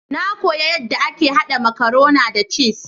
Na kuya yadda ake haɗa makarona da cis.